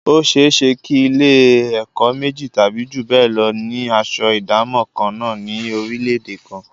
Ó ṣe é ṣe kí Ilé-ẹ̀kọ́ méjì tàbí jù bẹ́ẹ̀ lọ ni aṣọ ìdámọ̀ kan náà ní orílẹ̀-èdè kan